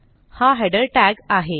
हा हेडर tagआहे